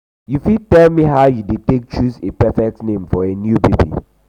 you fit tell me how you dey take choose a perfect name for a new baby?